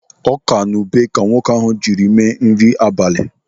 Ọka na ube ka nwoke ahụ jiri mere nri abalị.